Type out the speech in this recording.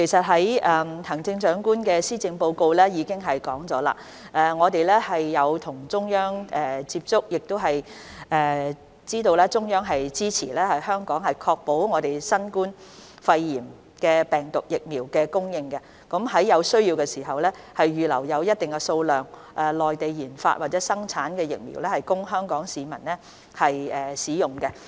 行政長官在施政報告中指出，當局曾與中央政府接觸，亦知道中央政府會支持香港確保新冠疫苗供應，在有需要時，預留一定數量的內地研發或生產的疫苗供香港市民使用。